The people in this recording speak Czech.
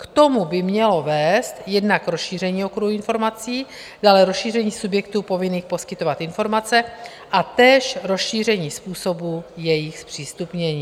K tomu by mělo vést jednak rozšíření okruhu informací, dále rozšíření subjektů povinných poskytovat informace a též rozšíření způsobu jejich zpřístupnění.